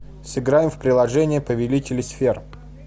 сыграем в приложение повелители сфер